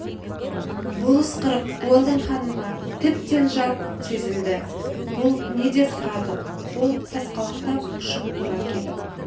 бұл ысқырық уэлдон ханымға тіптен жат сезілді бұл не деп сұрады ол сасқалақтап ұшып тұра келіп